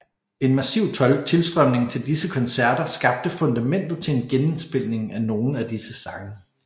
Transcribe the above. En massiv tilstrømning til disse koncerter skabte fundamentet til en genindspilning af nogle af disse sange